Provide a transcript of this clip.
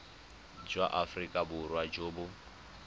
jwa aforika borwa jo bo